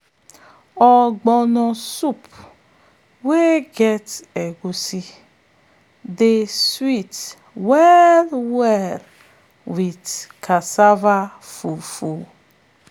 ogbono soup um wey get egusi dey sweet um well well with cassava fufu. um